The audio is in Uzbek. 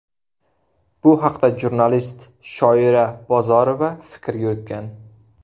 Bu haqda jurnalist Shoira Bozorova fikr yuritgan.